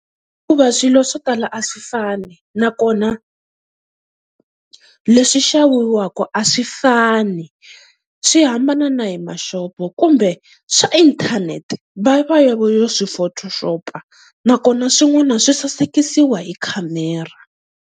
Hikuva swilo swo tala a swi fani, nakona leswi xaviwaka a swi fani swi hambana na hi mashopo. Kumbe swa inthanete va va va va yo swi photoshop nakona swin'wana swi sasekisiwa hi khamera.